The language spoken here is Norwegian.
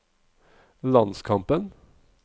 landskampen